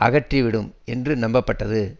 அகற்றிவிடும் என்று நம்பப்பட்டது